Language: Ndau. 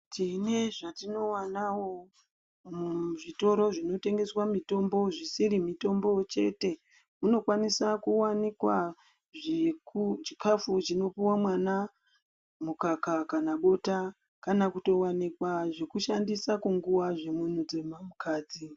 Tine zvatinowanawo muzvitoro zvinotengeswa mitombo zvisiri mitombo chete, munokwanisa kuwanikwa chikafu chinopuwa mwana mukaka kana bota, kana kutowanikwa zvekushandisa kunguwa zvemunhukadzi.